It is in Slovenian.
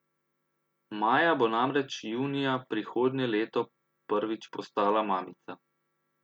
Maja bo namreč junija prihodnje leto prvič postala mamica.